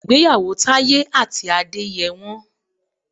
Ìgbéyàwó Taye àti Adé yẹ wọ́n.